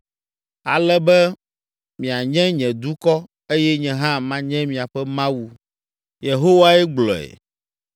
Ale be mianye nye dukɔ eye nye hã manye miaƒe Mawu.’ ” Yehowae gblɔe.